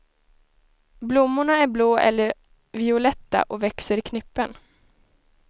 Blommorna är blå eller violetta och växer i knippen.